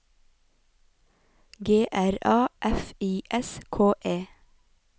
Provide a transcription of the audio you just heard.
G R A F I S K E